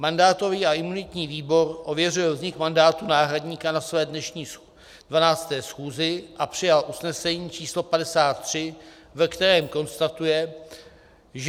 Mandátový a imunitní výbor ověřil vznik mandátu náhradníka na své dnešní 12. schůzi a přijal usnesení číslo 53, ve kterém konstatuje, že: